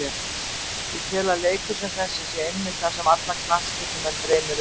Ég tel að leikur sem þessi sé einmitt það sem alla knattspyrnumenn dreymi um.